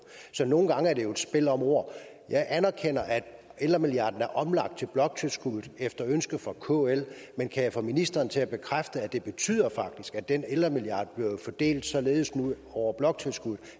så nogle gange er det jo et spil om ord jeg anerkender at ældremilliarden er omlagt til bloktilskuddet efter ønske fra kl men kan jeg få ministeren til at bekræfte at det faktisk betyder at den ældremilliard er blevet fordelt således over bloktilskuddet